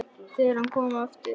Þegar hann kom aftur til